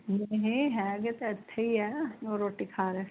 ਨਹੀਂ ਹੈਗੇ ਤਾਂ ਇੱਥੇ ਹੀ ਹੈ ਉਹ ਰੋਟੀ ਖਾ ਰਹੇ